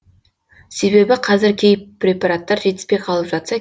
себебі қазір кей препараттар жетіспей қалып жатса